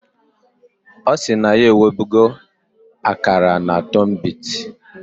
Osi na ya ewebugo akara na tunbit